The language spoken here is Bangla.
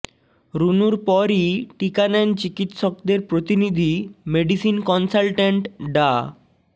রুনুর পরই টিকা নেন চিকিৎসকদের প্রতিনিধি মেডিসিন কনসালট্যান্ট ডা